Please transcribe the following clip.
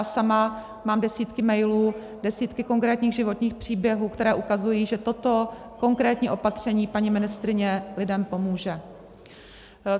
A sama mám desítky mailů, desítky konkrétních životních příběhů, které ukazují, že toto konkrétní opatření paní ministryně lidem pomůže.